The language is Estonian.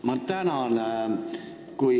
Ma tänan!